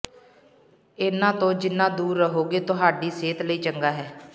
ਇਹਨਾਂ ਤੋਂ ਜਿਨ੍ਹਾਂ ਦੂਰ ਰਹੋਗੇ ਤੁਹਾਡੀ ਸਿਹਤ ਲਈ ਚੰਗਾ ਹੈ